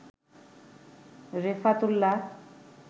Refat Ullah